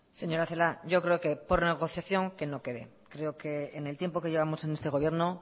señora celaá yo creo que por negociación que no quede creo que en el tiempo que llevamos en este gobierno